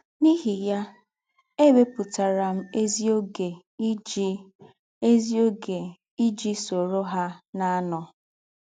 N’íhì yá, ėwèpụ̀tàrà m ézìógè iji ézìógè iji sòrò hà na - ànọ̀.